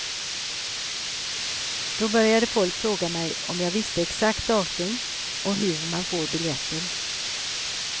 Då började folk fråga mig om jag visste exakt datum och hur man får biljetter.